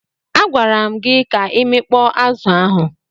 A gwara m gi ka imekpọ azu ahụ.